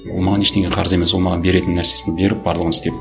ол маған ештеңе қарыз емес ол маған беретін нәрсесін беріп барлығын істеп